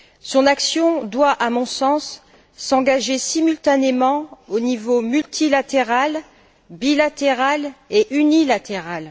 Son action doit, à mon sens, s'engager simultanément au niveau multilatéral, bilatéral et unilatéral.